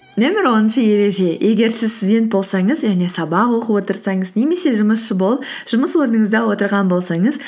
нөмір оныншы ереже егер сіз студент болсаңыз және сабақ оқып отырсаңыз немесе жұмысшы болып жұмыс орныңызда отырған болсаңыз